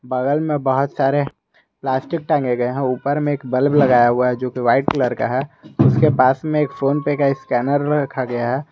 बगल में बहुत सारे प्लास्टिक टांगे गए हैं ऊपर में एक बल्ब लगाया हुआ है जो कि वाइट कलर का है उसके पास में एक फोनपे का स्कैनर रखा गया है।